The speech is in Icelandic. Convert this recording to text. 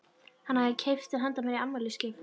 Hann hafði keypt þær handa mér í afmælisgjöf.